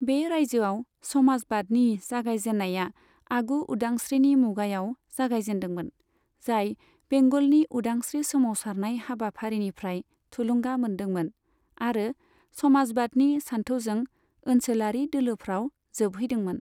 बे रायजोआव समाजबादनि जागायजेन्नाया आगु उदांस्रिनि मुगायाव जागायजेन्दोंमोन, जाय बेंगलनि उदांस्रि सोमावसारनाय हाबाफारिनिफ्राय थुलुंगा मोनदोंमोन आरो समाजबादनि सानथौजों ओनसोलारि दोलोफ्राव जोबहैदोंमोन।